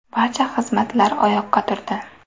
Barcha xizmatlar oyoqqa turdi.